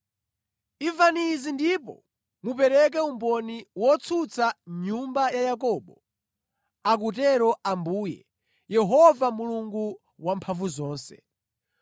“Imvani izi ndipo mupereke umboni wotsutsa nyumba ya Yakobo,” akutero Ambuye, Yehova Mulungu Wamphamvuzonse.